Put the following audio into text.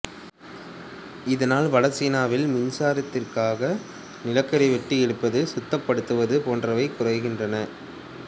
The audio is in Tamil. இதனால் வடசீனாவில் மின்சாரத்துக்காக நிலக்கரி வெட்டி எடுக்கப்படுவது சுத்தப்படுத்தப்படுவது போன்றவை குறைகின்றன